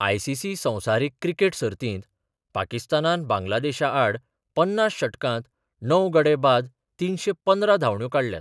ICC संवसारीक cricket सर्तींत पाकिस्तानान बांगलादेशा आड पन्नास षटकांत णव गडे बाद तिनशे पंदरा धांवड्यो काडल्यात.